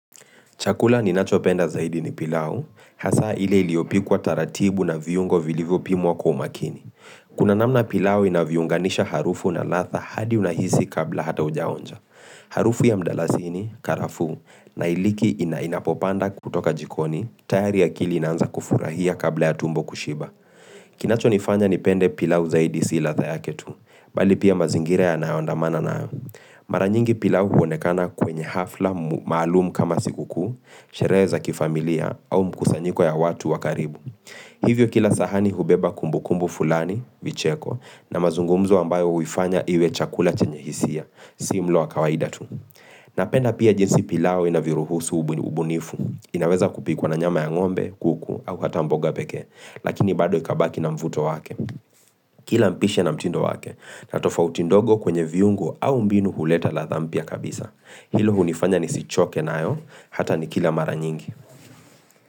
Chakula ninachopenda zaidi ni pilau, hasa ile iliyopikuwa taratibu na viungo vilivyopimwa kwa umakini. Kuna namna pilau inavyounganisha harufu na latha hadi unahisi kabla hata ujaonja. Harufu ya mdalasini, karafu, na iliki inainapopanda kutoka jikoni, tayari akili inanza kufurahia kabla ya tumbo kushiba. Kinacho nifanya nipende pilau zaidi si latha yake tu, bali pia mazingira yanayondamana na. Mara nyingi pilau huonekana kwenye hafla maalumu kama sikukuu, sherehe za kifamilia au mkusanyiko ya watu wakaribu Hivyo kila sahani hubeba kumbukumbu fulani, vicheko, na mazungumzo ambayo huifanya iwe chakula chenye hisia, si mlo wa kawaida tu Napenda pia jinsi pilau inavyoruhusu ubunifu, inaweza kupikwa na nyama ya ngombe, kuku, au hata mboga pekee Lakini bado ikabaki na mvuto wake Kila mpishi na mtindo wake na tofauti ndogo kwenye viungo au mbinu huleta latha mpya kabisa Hilo hunifanya nisichoke nayo Hata nikila mara nyingi.